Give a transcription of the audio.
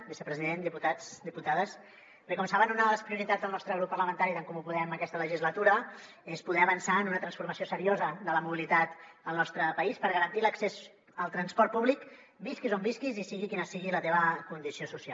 vicepresident diputats diputades bé com saben una de les prioritats del nostre grup parlamentari d’en comú podem aquesta legislatura és poder avançar en una transformació seriosa de la mobilitat al nostre país per garantir l’accés al transport públic visquis on visquis i sigui quina sigui la teva condició social